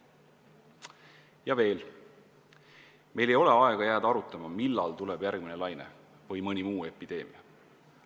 Ja veel, meil ei ole aega jääda arutama, millal tuleb järgmine laine või mõni muu epideemia.